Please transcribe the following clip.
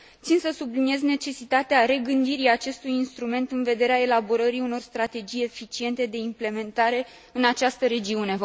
Țin să subliniez necesitatea regândirii acestui instrument în vederea elaborării unor strategii eficiente de implementare în această regiune.